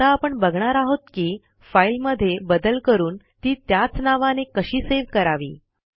आता आपण बघणार आहोत की फाईलमध्ये बदल करून ती त्याच नवाने कशी सेव्ह करावी